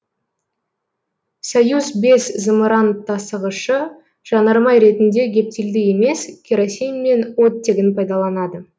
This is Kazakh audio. союз бес зымыран тасығышы жанармай ретінде гептилді емес керосин мен оттегін пайдаланады